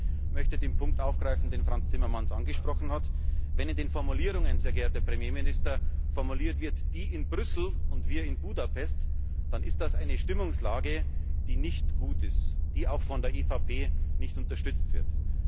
Aber auch ich möchte den Punkt aufgreifen, den Frans Timmermans angesprochen hat. Wenn es in den Formulierungen, sehr geehrter Premierminister, heißt die in Brüssel und wir in Budapest, dann ist das eine Stimmungslage, die nicht gut ist, die auch von der EVP nicht unterstützt wird.